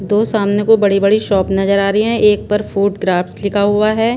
दो सामने को बड़ी-बड़ी शॉप नजर आ रही हैं एक पर फूड क्राफ्ट लिखा हुआ है।